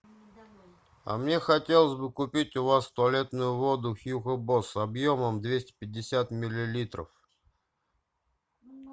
а мне хотелось бы купить у вас туалетную воду хьюго босс объемом двести пятьдесят миллилитров